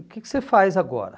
O que que você faz agora?